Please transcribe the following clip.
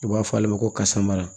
U b'a fɔ ale ma ko kasara